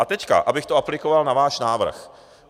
A teď abych to aplikoval na váš návrh.